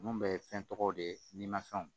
Ninnu bɛɛ ye fɛn tɔgɔ de ye nin mafɛnw